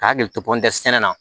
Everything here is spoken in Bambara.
K'a hakili to kɔnte sɛnɛ na